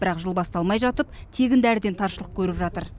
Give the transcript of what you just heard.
бірақ жыл басталмай жатып тегін дәріден таршылық көріп жатыр